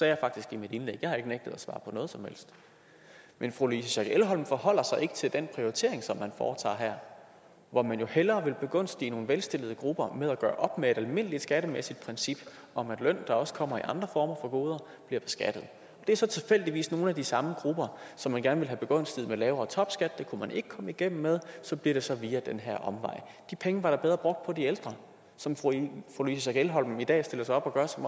jeg faktisk i mit indlæg jeg har ikke nægtet at svare på noget som helst men fru louise schack elholm forholder sig ikke til den prioritering som man foretager her hvor man jo hellere vil begunstige nogle velstillede grupper ved at gøre op med et almindelig skattemæssigt princip om at løn der også kommer i andre former for goder bliver beskattet det er så tilfældigvis nogle af de samme grupper som man gerne vil have begunstiget med lavere topskat det kunne man ikke komme igennem med så bliver det så via den her omvej de penge var da bedre brugt på de ældre som fru louise schack elholm i dag stiller sig op og gør sig